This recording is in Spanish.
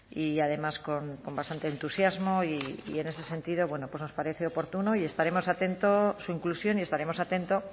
y además con bastante entusiasmo y en ese sentido bueno pues nos parece oportuno y estaremos atentos su inclusión y estaremos atentos